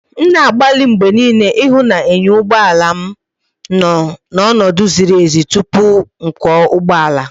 M na-agbalị mgbe niile ịhụ na enyo ụgbọ ala m nọ n'ọnọdụ ziri ezi tupu ịkwọ ụgbọala.